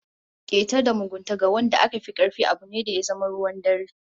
Keta da mugunta ga wanda aka fi karfi abu ne da ya zama ruwan dare